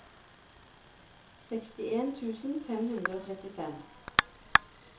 sekstien tusen fem hundre og trettifem